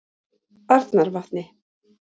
Arnarvatni